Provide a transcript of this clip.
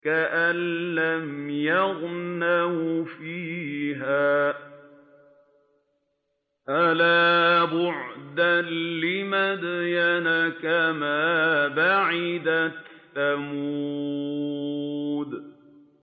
كَأَن لَّمْ يَغْنَوْا فِيهَا ۗ أَلَا بُعْدًا لِّمَدْيَنَ كَمَا بَعِدَتْ ثَمُودُ